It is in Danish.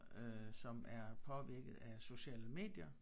Øh som er påvirket af sociale medier